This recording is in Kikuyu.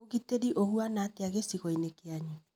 ũgitĩri ũhana atĩa gĩcigo-inĩ kĩanyu?